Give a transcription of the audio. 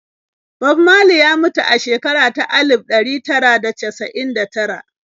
Bob Marley ya mutu a shekara ta alif ɗari tara da casa'in da tara.